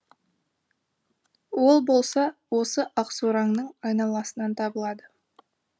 ол болса осы ақсораңның айналасынан табылады